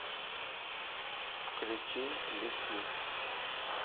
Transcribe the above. включи лети